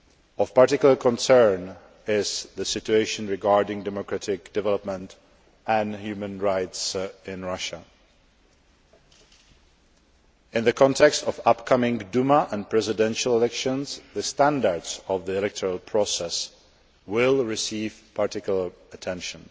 Of particular concern is the situation regarding democratic development and human rights in Russia. In the context of upcoming Duma and Presidential elections, the standards of the electoral process will receive particular attention.